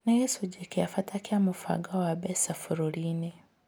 Nĩ gĩcunjĩ kĩa bata kĩa mũbango wa mbeca bũrũri-inĩ.